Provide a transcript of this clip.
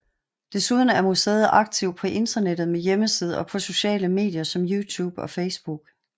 Desuden er museet aktiv på internettet med hjemmeside og på sociale medier som YouTube og Facebook